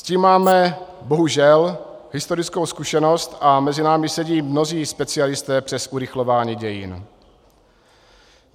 S tím máme bohužel historickou zkušenost a mezi námi sedí mnozí specialisté přes urychlování dějin.